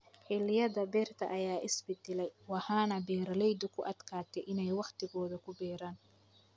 Xilliyada beerta ayaa isbedelay, waxaana beeralaydu ku adkaatay inay waqtigooda ku beeraan.